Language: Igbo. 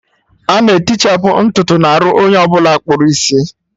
Ana etichapu ntutu n'arụ onye ọbụla akpụrụ isi